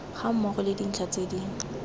gammogo le dintlha tse di